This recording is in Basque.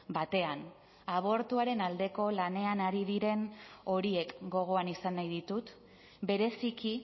batean abortuaren aldeko lanean ari diren horiek gogoan izan nahi ditut bereziki